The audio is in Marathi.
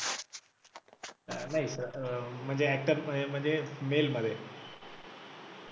नाही अं म्हणजे actor म्हणजे male मध्ये